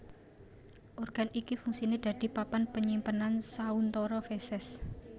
Organ iki fungsiné dadi papan panyimpenan sauntara feses